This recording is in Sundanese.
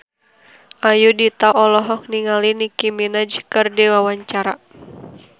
Ayudhita olohok ningali Nicky Minaj keur diwawancara